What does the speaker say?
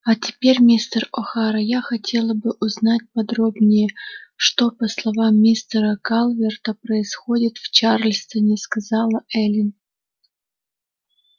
а теперь мистер охара я хотела бы узнать подробнее что по словам мистера калверта происходит в чарльстоне сказала эллин